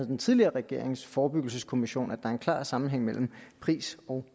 den tidligere regerings forebyggelseskommission at der er en klar sammenhæng mellem pris og